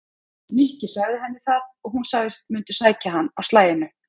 Nikki sagði henni það og hún sagðist mundu sækja hann á slaginu.